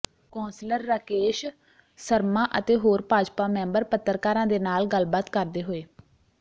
councillor Rakesh Sharma ਅਤੇ ਹੋਰ Bhajpa member ਪੱਤਰਕਾਰਾਂ ਦੇ ਨਾਲ ਗੱਲਬਾਤ ਕਰਦੇ ਹੋਏ